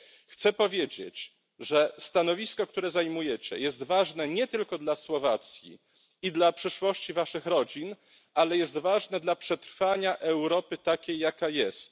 Chcę powiedzieć, że stanowisko, które zajmujecie, jest ważne nie tylko dla Słowacji i dla przyszłości waszych rodzin, ale jest ważne dla przetrwania Europy takiej jaka jest.